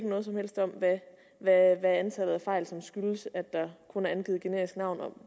noget som helst om hvad antallet af fejl som skyldes at der kun er angivet generisk navn er